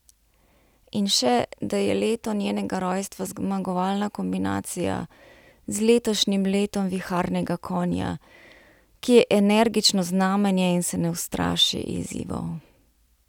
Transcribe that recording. In še, da je leto njenega rojstva zmagovalna kombinacija z letošnjim letom viharnega konja, ki je energično znamenje in se ne ustraši izzivov.